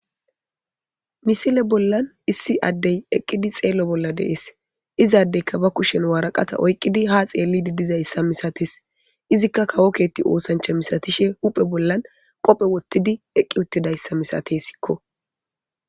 Misile bollan issi addey eqqidi xeelo bolla de7ees. Izadezikka ba kushe bolla waraqata oykidi ha xeelo bolla dizaaysa misatees,izika kawo keethe oosantha misatishe hu7e boolla qoope wothidi de7izayssa misateesiko.